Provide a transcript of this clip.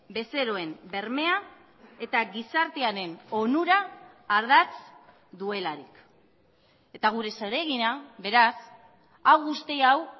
bezeroen bermea eta gizartearen onura ardatz duelarik eta gure zeregina beraz hau guzti hau